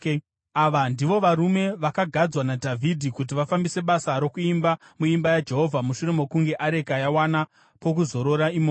Ava ndivo varume vakagadzwa naDhavhidhi kuti vafambise basa rokuimba muimba yaJehovha mushure mokunge areka yawana pokuzorora imomo.